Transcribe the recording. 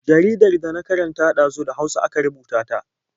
Jaridar da na karanta ɗazu da Hausa aka rubuta ta.